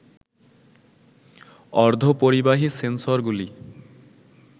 অর্ধ পরিবাহী সেন্সরগুলি